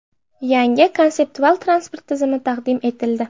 Yangi konseptual transport tizimi taqdim etildi .